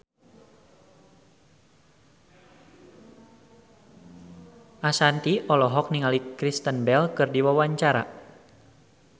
Ashanti olohok ningali Kristen Bell keur diwawancara